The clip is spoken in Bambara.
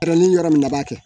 Yɔrɔ ni yɔrɔ min na b'a kɛ